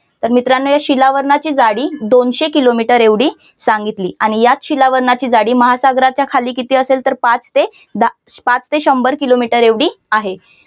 तर मित्रांनो या शिलावरणाची जाडी दोनशे किलोमीटर एवढी सांगितली आणि याच शिलावरणाची जाडी महासागराच्या खाली किती असेल तर पाच ते दहा पाच ते शंभर किलोमीटर एवढी आहे.